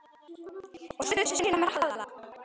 Og stundir sínar með Halla.